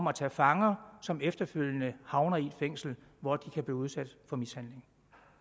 at tage fanger som efterfølgende havner i et fængsel hvor de kan blive udsat for mishandling